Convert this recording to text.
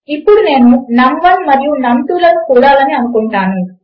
ఇప్పుడు నేను నమ్1 మరియు నమ్2 లకు కూడాలని అనుకుంటాను